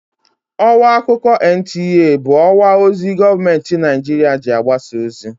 Ọwa akụkọ NTA bụ ọwa ozi gọọmentị Naịjirịa ji agbasa ozi.